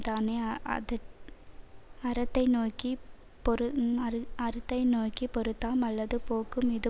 தானே அத அறத்தை நோக்கி பொறுத்தாம் அல்லது போக்கும் இது